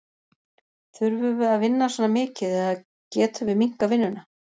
Þurfum við að vinna svona mikið eða getum við minnkað vinnuna?